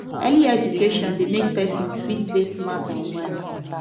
early education de make persin fit de smart and wise